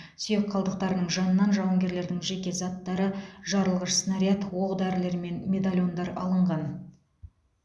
сүйек қалдықтарының жанынан жауынгерлердің жеке заттары жарылғыш снаряд оқ дәрілермен медальондар алынған